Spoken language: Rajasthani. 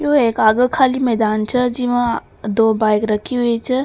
यह एक आगे खाली मैदान छे जिमा दो बाइक रखी हुई छे।